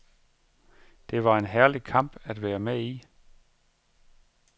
Det var en herlig kamp at være med i.